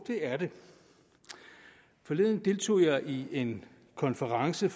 det er det forleden deltog jeg i en konference